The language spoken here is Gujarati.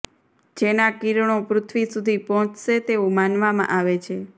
જેના કિરણો પૃથ્વી સુધી પહોંચશે તેવું માનવામાં આવે છે